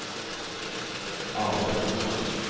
Arnulf Moland